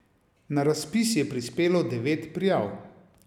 Na razpis je prispelo devet prijav.